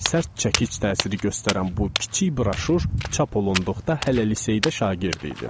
Sərt çəkic təsiri göstərən bu kiçik broşur çap olunduqda hələ liseydə şagird idim.